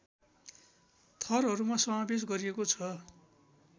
थरहरूमा समावेश गरिएको छ